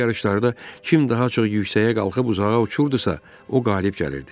Belə yarışlarda kim daha çox yüksəyə qalxıb uzağa uçurdusa, o qalib gəlirdi.